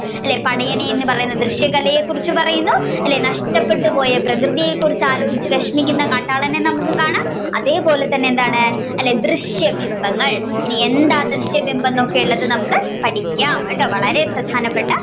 അല്ലെ പടയണി എന്ന ദൃശ്യ കലയെ കുറിച്ചു പറയുന്നു നഷ്ടപ്പെട്ട് പോയ പ്രകൃതിയെ കുറിച്ച ആലോചിച്ചു വിഷമിക്കുന്ന കാട്ടാളനെ നമ്മുക്ക് കാണാം അതേപോലെ തന്നെ എന്താണ് ദൃശ്യബിംബങ്ങൾ എന്താണ് ദൃശ്യബിംബങ്ങൾ എന്നൊക്കെ ഉള്ളത് പഠിക്കാം. കേട്ടോ വളരെ പ്രധാനപ്പെട്ട